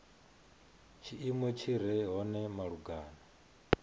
tshiimo tshi re hone malugana